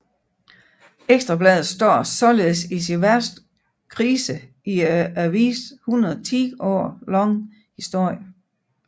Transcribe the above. Ekstra Bladet står således i sin værste krise i avisens 110 år lange historie